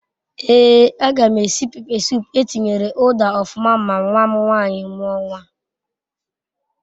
Ee a gam esi pepe sup etinyere uda ofuma ma nwam nwanyi muo nwa